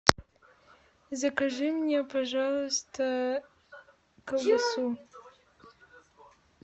закажи мне пожалуйста колбасу